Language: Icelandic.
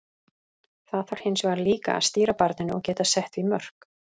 Það þarf hins vegar líka að stýra barninu og geta sett því mörk.